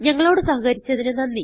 ഞങ്ങളോട് സഹകരിച്ചതിന് നന്ദി